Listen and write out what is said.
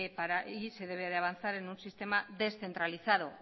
para ir y se debe avanzar en un sistema descentralizado